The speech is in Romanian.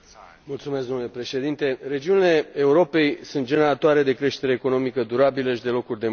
Domnule președinte, regiunile Europei sunt generatoare de creștere economică durabilă și de locuri de muncă.